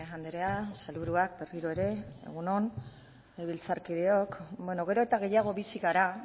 andrea sailburuak berriro ere egun on legebiltzarkideok beno gero eta gehiago bizi gara